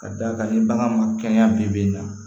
Ka d'a kan ni bagan ma kɛnɛya bi bi in na